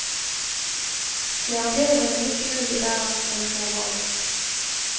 Det er bedre med litt kjølig vær enn for varmt.